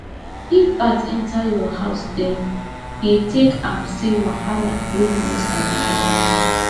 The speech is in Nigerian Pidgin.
if bat enter your house dem dey take am say wahala wey you no sabi don near